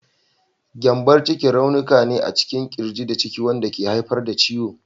Gyambon ciki raunuka ne a cikin ƙirji da ciki wanda ke haifar da ciwo.